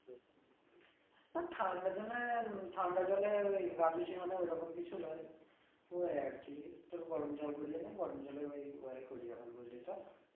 না ঠান্ডা জলে ঠান্ডা জলে ওই গা ধুচ্চি মানে ওই রকম কিছু নয় ওই আর কি তোর গরম জল করিয়া নিয়া গরম জলে ওই করি এখন বুঝলি তো